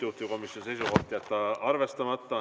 Juhtivkomisjoni seisukoht: jätta arvestamata.